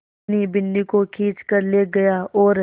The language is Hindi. धनी बिन्नी को खींच कर ले गया और